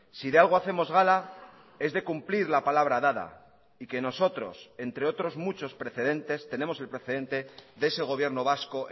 si de algo hacemos gala es de cumplir la palabra dada y que nosotros entre otros muchos precedentes tenemos el precedente de ese gobierno vasco